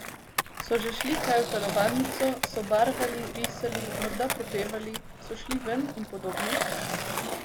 So že šli kaj v telovadnico, so barvali, risali, morda prepevali, so šli ven in podobno?